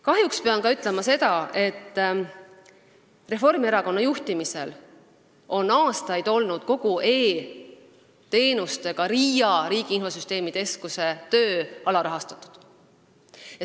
Kahjuks pean ütlema ka seda, et Reformierakonna juhtimise ajal oli RIA ehk Riigi Infosüsteemi Ameti töö aastaid alarahastatud.